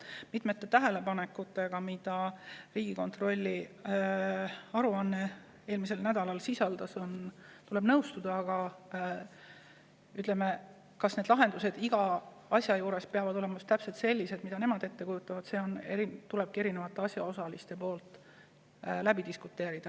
Mitmete tähelepanekutega, mida Riigikontrolli aruanne eelmisel nädalal sisaldas, tuleb nõustuda, aga kas need lahendused iga asja juures peavad olema täpselt sellised, mida nemad ette kujutavad, selle üle tulebki asjaosalistel diskuteerida.